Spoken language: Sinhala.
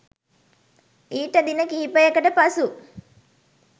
ඊට දින කිහිපයකට පසු